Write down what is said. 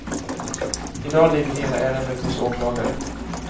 I dag ligger hela ärendet hos åklagare.